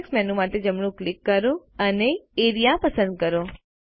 context menu માટે જમણું click કરો અને એઆરઇએ પસંદ કરો